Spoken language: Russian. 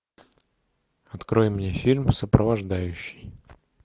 открой мне фильм сопровождающий